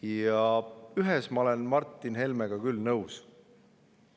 Aga ühes ma olen Martin Helmega küll nõus.